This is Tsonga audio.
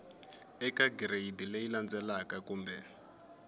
eka gireyidi leyi landzelaka kumbe